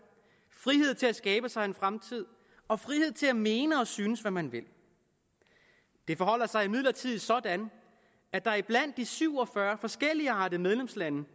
frihed til at skabe sig en fremtid og frihed til at mene og synes hvad man vil det forholder sig imidlertid sådan at der blandt de syv og fyrre forskelligartede medlemslande